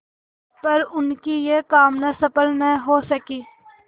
पर उनकी यह कामना सफल न हो सकी